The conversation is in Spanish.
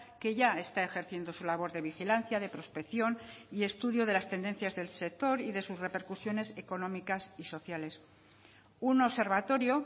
que ya está ejerciendo su labor de vigilancia de prospección y estudio de las tendencias del sector y de sus repercusiones económicas y sociales un observatorio